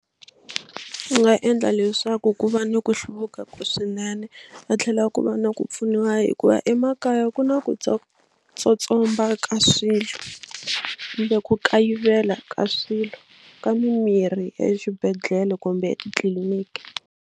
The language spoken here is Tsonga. Ku nga endla leswaku ku va ni ku hluvuka ka swinene va tlhela ku va na ku pfuniwa hikuva emakaya ku na ku tsotsomba ka swilo kumbe ku kayivela ka swilo ka mimirhi ya exibedhlele kumbe etitliliniki.